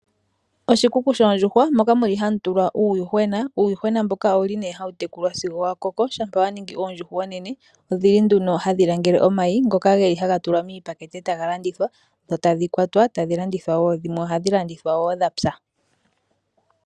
Oshikuku shoondjuhwa moka muli hamu tulwa uuyuhwena. Uuyuhwena mboka owuli nee hawu tekulwa sigo wakoko. Shampa waningi oondjuhwa oonene odhi li nduno hadhi langele omayi ngoka geli haga tulwa miipakete etaga landithwa dho tadhi kwatwa etadhi landithwa dhina omwenyo dho dhimwe ohadhi landithwa dhapya.